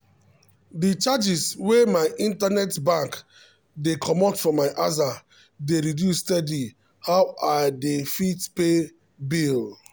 de charges wey my internet bank dey comot for my aza dey reduce steady how i dey fit pay bill.